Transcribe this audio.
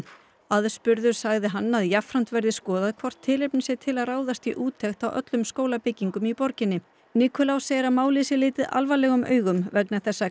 aðspurður sagði hann að jafnframt verði skoðað hvort tilefni sé til að ráðast í úttekt á öllum skólabyggingum í borginni Nikulás segir að málið sé litið alvarlegum augum vegna þess að